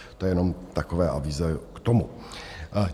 To je jenom takové avízo k tomu.